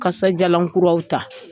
Kasadiyalan kuraw ta